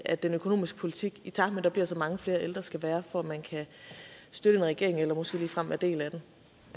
at den økonomiske politik i takt med at vi har så mange flere ældre skal være for at man kan støtte en regering eller måske ligefrem være en del